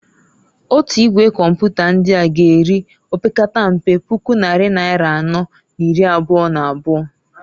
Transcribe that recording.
Otu Igwe Kọmpụta ndịa g'eri opekatampe puku nnari naịra anọọ n'iri abụa n'abụa.